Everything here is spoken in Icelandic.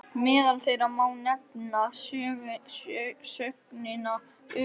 Meðal þeirra má nefna sögnina um